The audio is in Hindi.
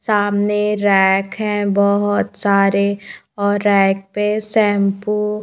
सामने रैक है बहोत सारे और रैक पे शैंपू --